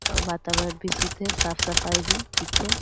वातावरण भी शुद्ध है साफ-सफाई भी ठीक है।